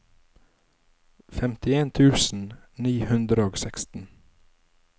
femtien tusen ni hundre og seksten